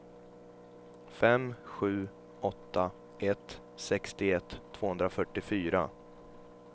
fem sju åtta ett sextioett tvåhundrafyrtiofyra